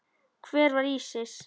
Hver var Ísis?